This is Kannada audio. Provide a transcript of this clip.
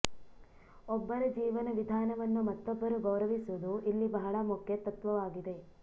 ಒಬ್ಬರ ಜೀವನ ವಿಧಾನವನ್ನು ಮತ್ತೊಬ್ಬರು ಗೌರವಿಸುವುದು ಇಲ್ಲಿ ಬಹಳ ಮುಖ್ಯ ತತ್ವವಾಗಿದೆ